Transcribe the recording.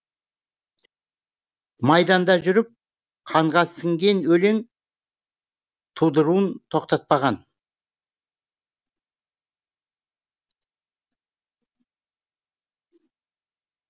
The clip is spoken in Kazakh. майданда жүріп қанға сіңген өлең тудыруын тоқтатпаған